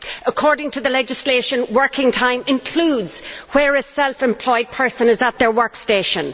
According to the legislation, working time includes when a self employed person is at their work station.